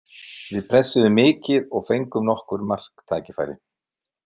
Við pressuðum mikið og fengum nokkur marktækifæri.